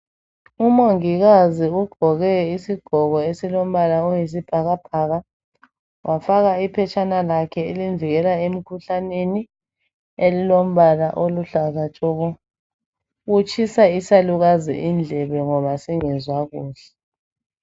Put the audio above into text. Umongikazi ugqoke isigqoko esilombala oyisibhakabhaka wafaka iphetshana lakhe elimvikela emkhuhlaneni elilombala okuhlaza tshoko utshisa isalukazi indlebe ngoba singezwa kuhle.